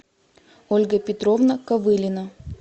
ольга петровна ковылина